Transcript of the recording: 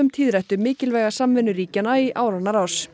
tíðrætt um mikilvæga samvinnu ríkjanna í áranna rás